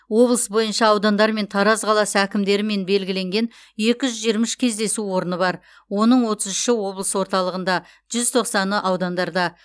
облыс бойынша аудандар мен тараз қаласы әкімдерімен белгіленген екі жүз жиырма үш кездесу орны бар оның отыз үші облыс орталығында жүз тоқсаны аудандарда